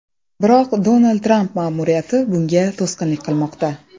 Biroq Donald Tramp ma’muriyati bunga to‘sqinlik qilmoqda.